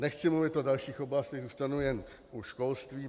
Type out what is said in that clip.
Nechci mluvit o dalších oblastech, zůstanu jen u školství.